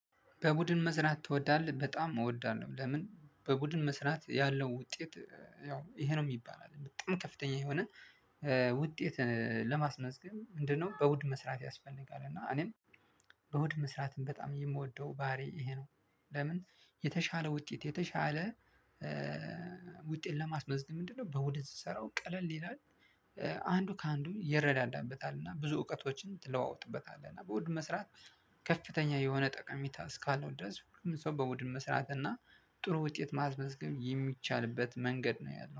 በቡድን መስራት ትወዳለህ? በጣም እወዳለሁ። ለምን በቡድን መስራት ያለው ውጤት ያው ይሄ ነው የሚባል አይደለም በጣም ከፍተኛ የሆነ ውጤት ለማስመዝገብ ምንድነው? በቡድን መስራት ያስፈልጋል እና እኔም በቡድን መስራትም በጣም የምወደው ባህሪ ይሄ ነው። ለምን የተሻለ ውጤት የተሻለ ውጤት ለማስመዝግ ምንድነው? በቡድን ስሰራው ቀለል ይላል። አንዱ ከአንዱ ይረዳዳበታልና እና ብዙ እውቀቶችን ትለዋወጥበታለህ እና በቡድን መስራት። ከፍተኛ የሆነ ጠቀሚታ እስካለው ድረስ ሁሉም ሰው በቡድን መስራት እና ጥሩ ውጤት ማስመዝገብ የሚቻልበት መንገድ ነው ያለው